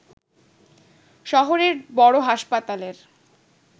শহরের বড় হাসপাতালের